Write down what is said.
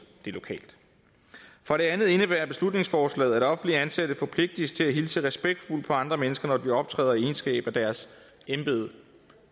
det lokalt for det andet indebærer beslutningsforslaget at offentligt ansatte forpligtes til at hilse respektfuldt på andre mennesker når de optræder i egenskab af deres embede